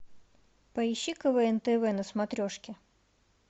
поищи квн тв на смотрешке